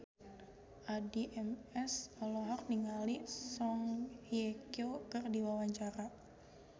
Addie MS olohok ningali Song Hye Kyo keur diwawancara